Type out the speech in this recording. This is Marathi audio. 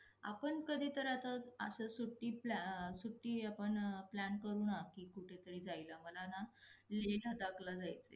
आपण कधी तर आता अस सुट्टी plan सुट्टी आपणं plan करू ना की कुठं तरी जायला. मला ना लेह लदाखला जायचं आहे.